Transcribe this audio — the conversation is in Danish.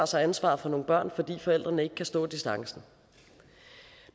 sig ansvaret for nogle børn fordi forældrene ikke kan stå distancen